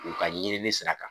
U ka ɲinini sira kan